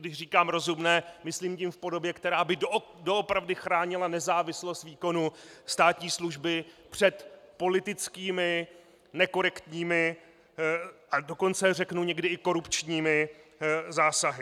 Když říkám rozumné, myslím tím v podobě, která by doopravdy chránila nezávislost výkonu státní služby před politickými nekorektními, a dokonce řeknu někdy i korupčními zásahy.